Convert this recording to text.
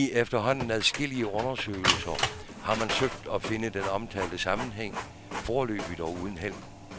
I efterhånden adskillige undersøgelser har man søgt at finde den omtalte sammenhæng, foreløbig dog uden held.